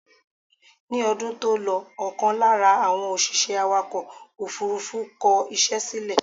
Ni ọdún tó lọ ọkàn lára àwọn òṣìṣẹ́ awàkọ̀ òfúrúfú kọ ìṣe sílè